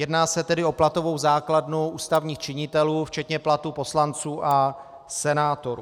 Jedná se tedy o platovou základnu ústavních činitelů včetně platů poslanců a senátorů.